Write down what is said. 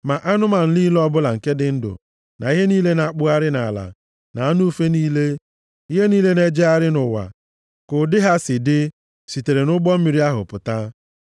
Ma anụmanụ niile ọbụla nke dị ndụ, na ihe niile na-akpụgharị nʼala, na anụ ufe niile, ihe niile na-ejegharị nʼụwa, ka ụdị ha si dị, sitere nʼụgbọ mmiri ahụ pụta.